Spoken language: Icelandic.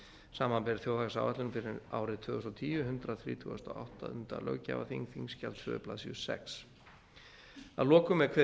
samanber þjóðhagsáætlun fyrir árið tvö þúsund og tíu hundrað þrítugasta og áttunda löggjafarþing þingskjal tvær blaðsíður sjötta að lokum er kveðið